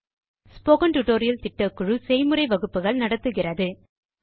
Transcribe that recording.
spoken tutorial திட்டக்குழு spoken டுடோரியல்களை கொண்டு பயிலரங்குகளை நடத்துகிறது